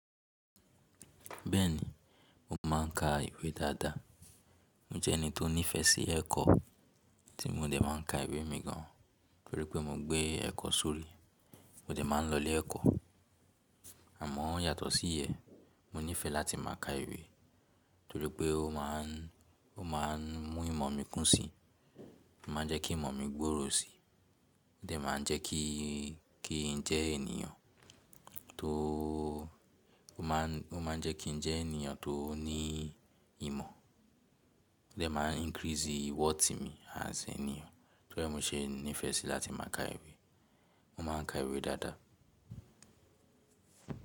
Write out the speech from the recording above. Bẹ́ẹ̀ni, mo máà ń ka ìwé dáadáa. Mo jẹ́ ẹni tó ní ìfẹ́ sí ẹ̀kọ́, tí mo dẹ̀ máa ń ka ìwé mi gan torí pé mo gbé ẹ̀kọ́ sórí, mo dẹ̀ máa ń lọ ilé ẹ̀kọ́. Àmọ́ yàtọ̀ sí iyẹn, mo nífẹẹ láti máa ka ìwé torí pé ó máa ń, ó máa ń mú ìmọ̀ mi kún si, ó máa ń jẹ́ kí ìmọ̀ mi gbòòrò si, ó dẹ̀ máa ń jẹ́ kí, kí i jẹ́ ènìyàn tó, ó máa ń, ó máa ń jẹ́ kí n jẹ́ ènìyàn tó ní ìmọ̀, ó dẹ̀ máa ń increase worth mi as ènìyàn. Tori e mo se nifee si lati maa ka iwe, mo maan ka iwe daadaa.